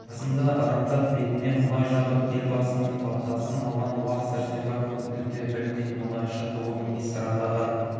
жасында ырымдап бетіне мұнай жағып елбасының батасын алған уақ сәрсенбаев бүгінде білдей мұнайшы ғылым магистрі атағын